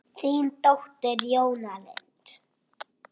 Þín dóttir, Jóna Lind.